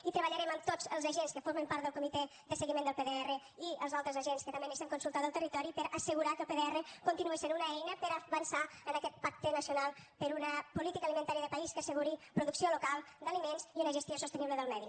i treballarem amb tots els agents que formen part del comitè de seguiment del pdr i els altres agents que també necessitem consultar del territori per assegurar que el pdr continua sent una eina per a avançar en aquest pacte nacional per una política alimentària de país que asseguri producció local d’aliments i una gestió sostenible del medi